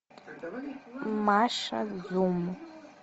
маша зум